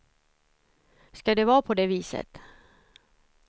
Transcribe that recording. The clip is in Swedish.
Ska det vara på det viset?